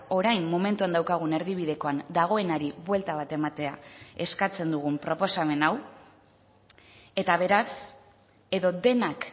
orain momentuan daukagun erdibidekoan dagoenari buelta bat ematea eskatzen dugun proposamen hau eta beraz edo denak